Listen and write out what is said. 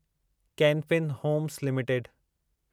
can Fin Homes limited